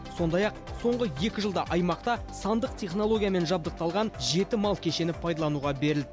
сондай ақ соңғы екі жылда аймақта сандық технологиямен жабдықталған жеті мал кешені пайдалануға берілді